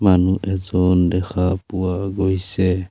মানুহ এজন দেখা পোৱা গৈছে।